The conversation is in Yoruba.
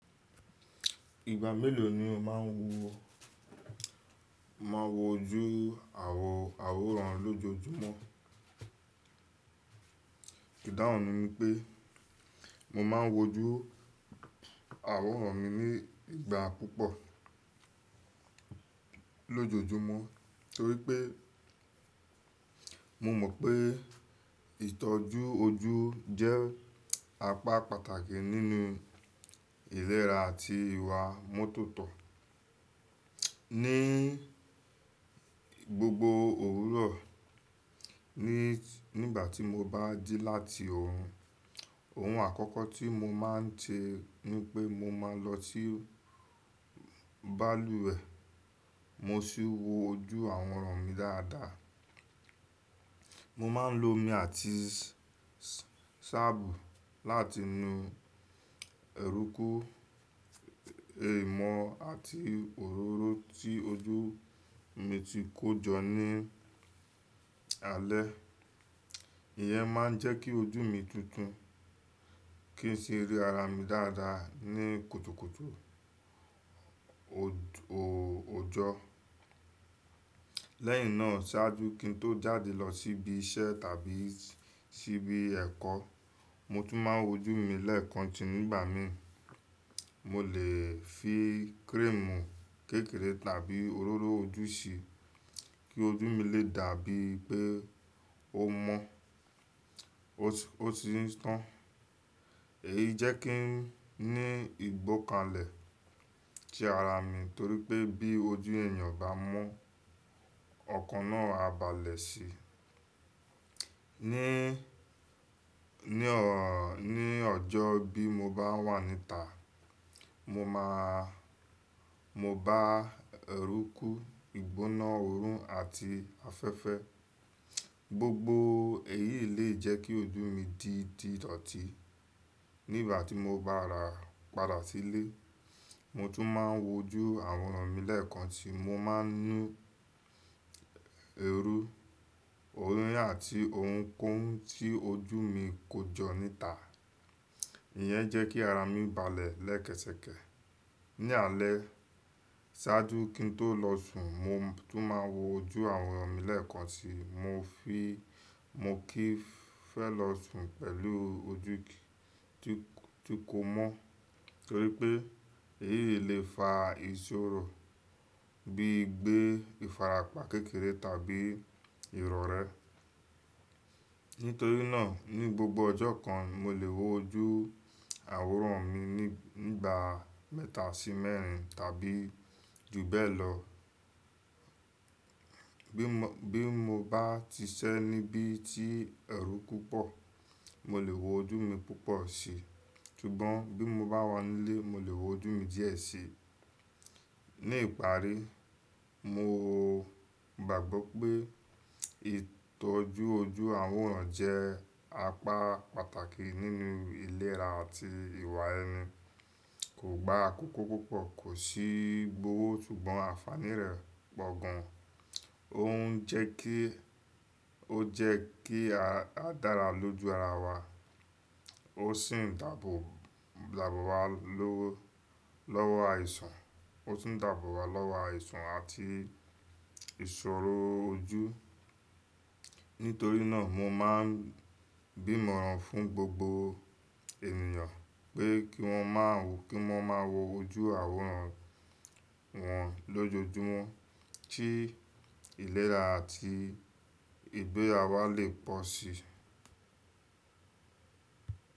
Ìgbà mélòó ni o máa ń wo, máa ń wojú àwòràn lójoojúmọ́? Ìdáhùn mi ni pé mo máa ń wojú àwòràn mi ní ìgbà púpọ̀ lójoojúmọ́ torí pé mo mọ̀ pé ìtọ́jú ojú jẹ́ apá pàtàkì nínú ìlera àti ìwà mótòtó. Ni gbogbo òwúrọ̀, nígbà tí mo bá dí láti ọ̀run, ohun àkọ́kọ́ tí mo máa ń ṣe ni pé mo máa lọ sí balùwẹ̀, mo sì wo ojú àwòràn mi dáadáa. Mo máa ń lo omi àti ṣábù láti nu ẹ̀rùkù, ìmọ̀ àti òróró tí ojú mi ti kó jọ ní alẹ́. Ìyẹ́ máa ń jẹ́ kí ojú mi tuntun kí n sì rí ara mi dáadáa ní kùtùkùtù ojó. Lẹ́yìn náà sáájú kí n tó jáde lọ sí ibi iṣẹ́ tàbí sí ibi ẹ̀kọ́, mo tún máa ń wojú mi lẹ́ẹ̀kan ti nígbà mi. Mo lè fi kírèmù kékeré tàbí òróró ojú sí i kí ojú mi lè dà bíi pé ó mọ́, ó sì ń tàn. Èyí jẹ́ kí n ní ìgbọ́kalẹ̀ sí ara mi torí pé bí ojú ènìyàn bá mọ́, ọkàn náà á balẹ̀ sí. Ní Ni ọjọ́ bí mo bá wà níta, mo máa, mo bá ẹ̀rùkù, ìgbóná oòrùn àti afẹ́fẹ́. Gbogbo èyí lè jẹ́ kí ojú mi di títọ̀tí. Nígbà tí mo bá ra padà sí ilé, mo tún máa ń wojú àwòràn mi lẹ́ẹ̀kan ti mo máa ń nu ẹrú, òróró àti ohunkóhun tí ojú mi kó jọ níta. Ìyẹn jẹ́ kí ara mi balẹ̀ lẹ́kẹ̀sẹkẹ̀. Ni alẹ́, sáájú kí n tó lọ sùn, mo tún máa ń wojú àwòràn mi lẹ́ẹ̀kan ti mo fí kí ń fẹ́ lọ sùn pẹ̀lú ojú tí kò mọ́ torí pé èyí lè fa ìṣòro bíi gbé ìfarapa kékeré tàbí irọ̀rẹ́. Nítorí náà ní gbogbo ọjọ́ kan mo lè wojú àwòràn mi nígbà mẹ́ta sí mẹ́rin tàbí ju bẹ́ẹ̀ lọ. Bí mo bá ti ṣẹ́ níbí tí ẹ̀rùku púpọ̀, mo lè wojú mi púpọ̀ si. Kígbọ́n bí mo bá wà nílé, mo lè wojú mi díẹ̀ sí i. Ní ìparí, mo gbàgbọ́ pé ìtọ́jú ojú àwòràn jẹ́ apá pàtàkì nínú ìlera àti ìwà ẹni. Kò gba àkókò púpọ̀, kò sì gbọ́wọ́ ṣùgbọ́n àfààní rẹ̀ pọ̀ gan. Ó jẹ́ kí a dára lójú ara wa, ó sì ń dàbò wa lọ́wọ́ àìsàn àti ìṣòro ojú. Nítorí náà mo máa ń bímọ̀ran fún gbogbo ènìyàn pé kí wọ́n máa wo ojú àwòràn wọn lójoojúmọ́ kí ìlera àti ìgbéra wa lè pọ̀ sí i.